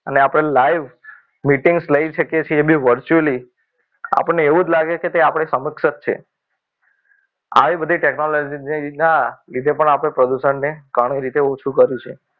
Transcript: અને આપણે live meeting લઈ શકીએ છીએ એબી virtually આપણને એવું જ લાગે કે તે આપણી સમક્ષ જ છે આવી બધી technology જેના લીધે પણ આપણે પ્રદૂષણને ઘણી રીતે ઓછું કર્યું છે